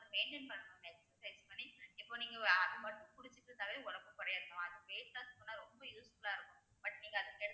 maintain பண்ணணும் exercise பண்ணி இப்ப நீங்க ஒ~ அது மட்டும் குடிச்சிட்டு இருந்தாலே உடம்பு குறையாது mam அதுக்கு weight loss பண்ண ரொம்ப useful ஆ இருக்கும் but நீங்க அதுக்கு